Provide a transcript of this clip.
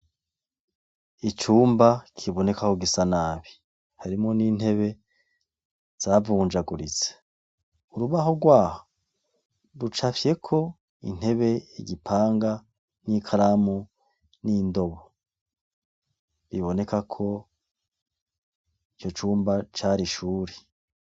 Icumba kibonekako gisa nabi, harimwo n'intebe zavunjaguritse. Urubaho rwaho rucafyeko intebe, igipanga n'ikaramu n'indobo. Biboneka ko ico cumba cari ishure.